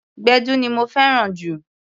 Gbẹ̀du ni mo fẹ́ràn jù.